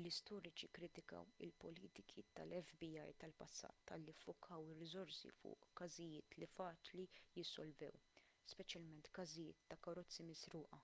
l-istoriċi kkritikaw il-politiki tal-fbi tal-passat talli ffukaw ir-riżorsi fuq każijiet li faċli jissolvew speċjalment każijiet ta' karozzi misruqa